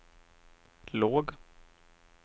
låg